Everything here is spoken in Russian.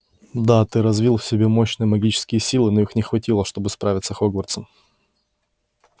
да ты развил в себе мощные магические силы но их не хватило чтобы справиться хогвартсом